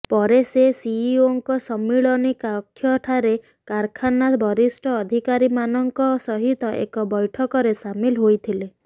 ପରେ ସେ ସିଇଓଙ୍କ ସମ୍ମିଳନୀ କକ୍ଷଠାରେ କାରଖାନା ବରିଷ୍ଠ ଅଧିକାରୀମାନଙ୍କ ସହିତ ଏକ ବ୘ଠକରେ ସାମିଲ ହୋଇଥିଲେ